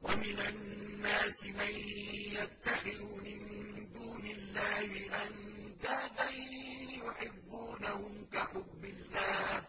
وَمِنَ النَّاسِ مَن يَتَّخِذُ مِن دُونِ اللَّهِ أَندَادًا يُحِبُّونَهُمْ كَحُبِّ اللَّهِ ۖ